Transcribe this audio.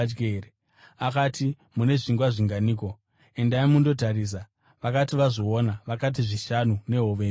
Akati, “Mune zvingwa zvinganiko? Endai mundotarisa.” Vakati vazviona, vakati, “Zvishanu, nehove mbiri.”